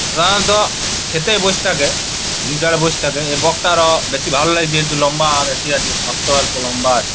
আঁ ত খেতে এই বস থাকে| এ বক টা র বেশি ভালো লাগছে | একটু লম্বা বেশি আছে ঠঠ ও অল্প লম্বা আছে।